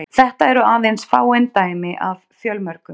Þetta eru aðeins fáein dæmi af fjölmörgum.